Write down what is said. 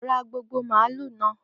Ra gbogbo màálù náà!